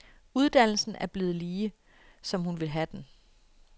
Uddannelsen er blevet lige, som hun vil have den.